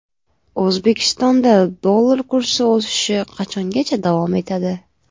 O‘zbekistonda dollar kursi o‘sishi qachongacha davom etadi?